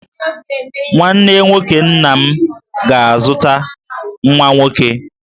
Nwanne nwoke nna m ga-azụta nwa nwoke.